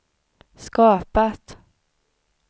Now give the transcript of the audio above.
skapat